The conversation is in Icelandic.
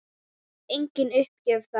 Engin uppgjöf þar.